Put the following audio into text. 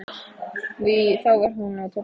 Þá var hún á tólfta ári.